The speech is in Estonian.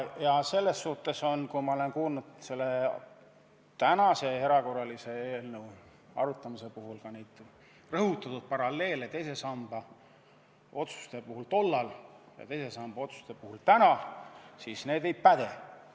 Ja selles mõttes ma väidan, et kui tänase erakorralise eelnõu puhul rõhutatakse paralleele tollaste teise samba otsuste ja praeguste teise samba otsuste vahel, siis see ei päde.